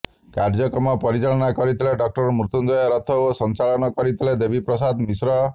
କାର୍ଯ୍ୟକ୍ରମ ପରିଚାଳନା କରିଥିଲେ ଡ଼ଃ ମୃତ୍ୟୁଞ୍ଜୟ ରଥ ଓ ସଂଚାଳନ କରିଥିଲେ ଦେବୀପ୍ରସାଦ ମିଶ୍ର